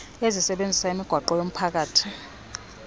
ezisebenzisa imigwaqo yomphakathi